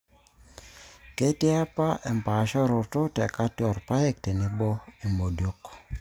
ketii apa empaashoroto te kati oorpaek tenebo imodiok